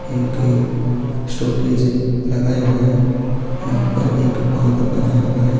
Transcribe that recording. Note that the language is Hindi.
एक स्टॉपेज है लगाया हुआ है यहाँ पर एक बाँध बनाया हुआ है।